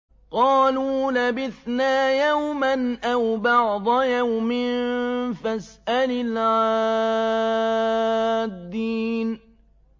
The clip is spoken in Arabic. قَالُوا لَبِثْنَا يَوْمًا أَوْ بَعْضَ يَوْمٍ فَاسْأَلِ الْعَادِّينَ